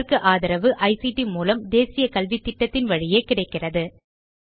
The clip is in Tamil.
இதற்கு ஆதரவு ஐசிடி மூலம் தேசிய கல்வித்திட்டத்தின் வழியே கிடைக்கிறது